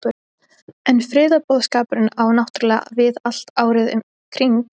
En friðarboðskapurinn á náttúrulega við allt árið um kring?